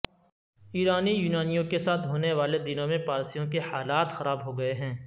ایرانی یونانیوں کے ساتھ ہونے والے دنوں میں پارسیوں کے حالات خراب ہوگئے ہیں